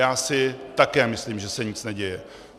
Já si také myslím, že se nic neděje.